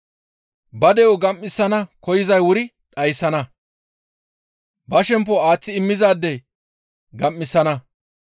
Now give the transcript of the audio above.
Ba de7o gam7isana koyzay wuri dhayssana; ba shempo aaththi immizaadey gam7isana.